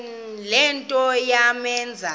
le nto yamenza